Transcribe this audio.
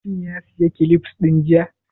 Shin ya saya kilifs ɗin jiya?